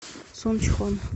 сунчхон